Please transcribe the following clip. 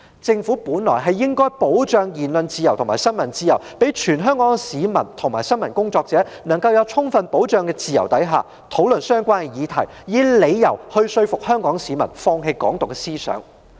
政府本來應該保障言論自由和新聞自由，讓全港市民及新聞工作者能夠在自由得到充分保障的情況下，討論相關議題，以說服香港市民放棄"港獨"思想。